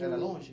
Era longe?